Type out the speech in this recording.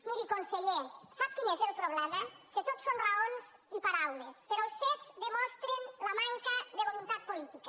miri conseller sap quin és el problema que tot són raons i paraules però els fets demostren la manca de voluntat política